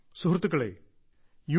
സുഹൃത്തുക്കളേ യു